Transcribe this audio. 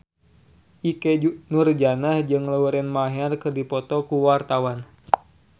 Ikke Nurjanah jeung Lauren Maher keur dipoto ku wartawan